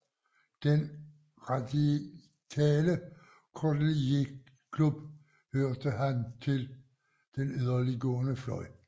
I den radikale Cordeliersklub hørte han til den yderliggående fløj